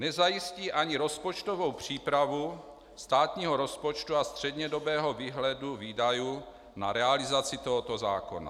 Nezajistí ani rozpočtovou přípravu státního rozpočtu a střednědobého výhledu výdajů na realizaci tohoto zákona.